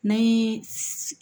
N'an ye